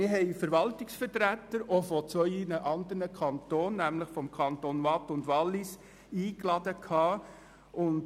Wir luden Verwaltungsvertreter der Kantone Waadt und Wallis ein.